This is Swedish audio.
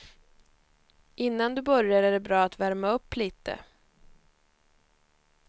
Innan du börjar är det bra att värma upp lite.